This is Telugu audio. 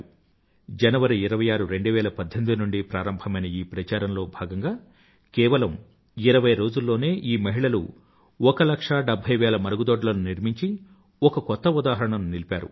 2018జనవరి 26 నుండి ప్రారంభమైన ఈ ప్రచారంలో భాగంగా కేవలం ఇరవై రోజుల్లోనే ఈ మహిళలు ఒక లక్ష డెభ్భై వేల మరుగుదొడ్లను నిర్మించి ఒక కొత్త ఉదాహరణను నిలిపారు